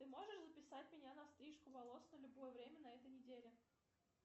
ты можешь записать меня на стрижку волос на любое время на этой неделе